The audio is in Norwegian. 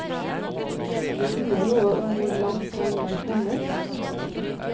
Det sier noe om hvor langt han var kommet.